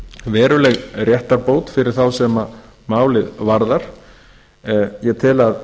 veruleg réttarbót fyrir þá sem málið varðar ég tel að